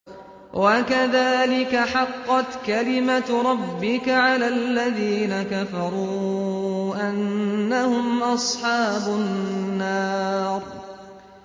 وَكَذَٰلِكَ حَقَّتْ كَلِمَتُ رَبِّكَ عَلَى الَّذِينَ كَفَرُوا أَنَّهُمْ أَصْحَابُ النَّارِ